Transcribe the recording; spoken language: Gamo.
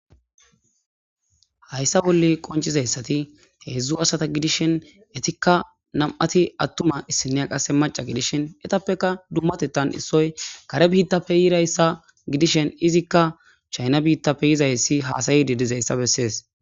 hayssa bolle qoncizayssati heedzdzu asata gidishin etikka nam7ati attuma issiniya qase maca gidishin etappeka dummatetan issoy kare biittappe yirayssa gidishen izikka chayna biittappe yizayssi haasayidi dizayssa bessees